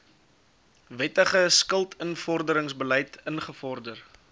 wettige skuldinvorderingsbeleid ingevorder